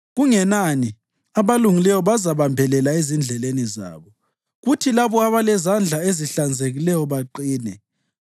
Kungenani, abalungileyo bazabambelela ezindleleni zabo, kuthi labo abalezandla ezihlanzekileyo baqine.